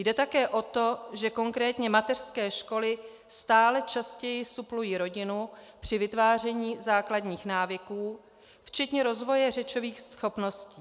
Jde také o to, že konkrétně mateřské školy stále častěji suplují rodinu při vytváření základních návyků, včetně rozvoje řečových schopností.